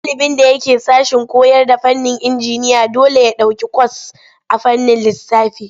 Ɗalibin da yake sashen koyarda fannin injiniya dole ya ɗauki kwas a fannin lissafi.